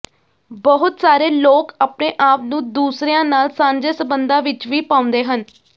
ਬਹੁਤ ਸਾਰੇ ਲੋਕ ਆਪਣੇ ਆਪ ਨੂੰ ਦੂਸਰਿਆਂ ਨਾਲ ਸਾਂਝੇ ਸਬੰਧਾਂ ਵਿੱਚ ਵੀ ਪਾਉਂਦੇ ਹਨ